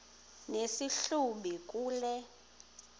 nesi hlubi kule